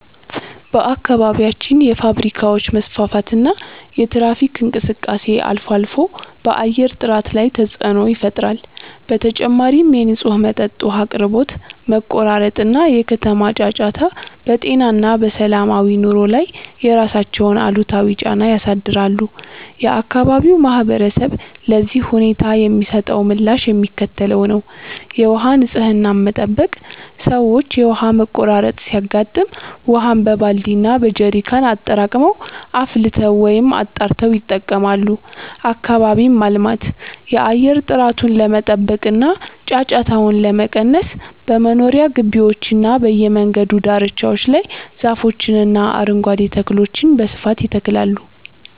በአካባቢያችን የፋብሪካዎች መስፋፋትና የትራፊክ እንቅስቃሴ አልፎ አልፎ በአየር ጥራት ላይ ተፅዕኖ ይፈጥራል። በተጨማሪም የንጹህ መጠጥ ውሃ አቅርቦት መቆራረጥ እና የከተማ ጫጫታ በጤና እና በሰላማዊ ኑሮ ላይ የራሳቸውን አሉታዊ ጫና ያሳድራሉ። የአካባቢው ማህበረሰብ ለዚህ ሁኔታ የሚሰጠው ምላሽ የሚከተለው ነው፦ የውሃ ንፅህናን መጠበቅ፦ ሰዎች የውሃ መቆራረጥ ሲያጋጥም ውሃን በባልዲ እና በጀሪካን አጠራቅመው፣ አፍልተው ወይም አጣርተው ይጠቀማሉ። አካባቢን ማልማት፦ የአየር ጥራቱን ለመጠበቅ እና ጫጫታውን ለመቀነስ በመኖሪያ ግቢዎችና በየመንገዱ ዳርቻዎች ላይ ዛፎችንና አረንጓዴ ተክሎችን በስፋት ይተክላሉ።